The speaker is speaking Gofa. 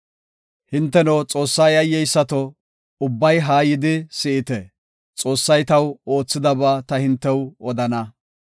Hinteno, Xoossas yayyeysato, ubbay haa yidi, si7ite; Xoossay taw oothidaba ta hintew odana.